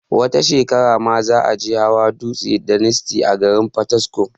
wata shekarar ma za a je hawa dutsen daniski a garin fataskum